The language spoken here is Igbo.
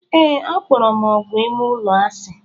Ee, akpọrọ m ógwù ime ụlọ asị.